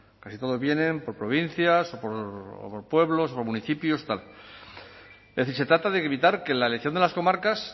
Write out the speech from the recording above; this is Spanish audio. casi todos vienen por provincias o por pueblos o por municipios se trata de evitar que la elección de las comarcas